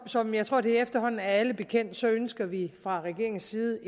som jeg tror det efterhånden er alle bekendt ønsker vi fra regeringens side